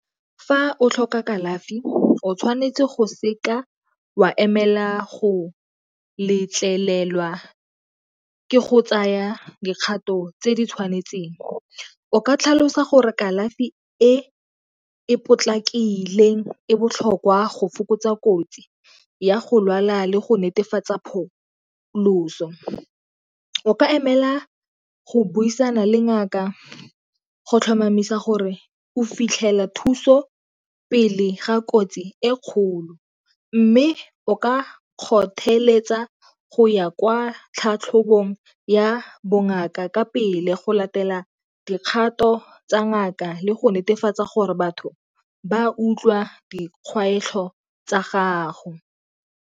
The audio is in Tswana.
Fa o tlhoka kalafi o tshwanetse go seka wa emela go letlelelwa ke go tsaya dikgato tse di tshwanetseng o ka tlhalosa gore kalafi e e potlakileng e botlhokwa go fokotsa kotsi ya go lwala le go netefatsa pholoso. O ka emela go buisana le ngaka go tlhomamisa gore o fitlhela thuso pele ga kotsi e kgolo mme o ka kgotheletsa go ya kwa tlhatlhobong ya bongaka ka pele, go latela dikgato tsa ngaka le go netefatsa gore batho ba utlwa dikgwetlho tsa gago.